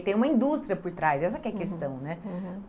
E tem uma indústria por trás, essa que é a questão, né? Uhum, uhum.